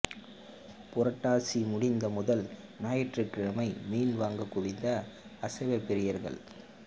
புரட்டாசி முடிந்த முதல் ஞாயிற்றுக்கிழமை மீன் வாங்க குவிந்த அசைவ பிரியர்கள்